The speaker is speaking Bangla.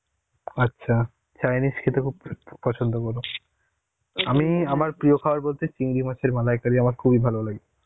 আচ্ছা. Chinese খেতে খু~ খুব পছন্দ করো. আমি আমার প্রিয় খাবার বলতে চিংড়ি মাছের মালাইকারি আমার খুবই ভালো লাগে.